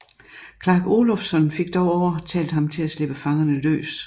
Clark Olofsson fik dog overtalt ham til at slippe fangerne løs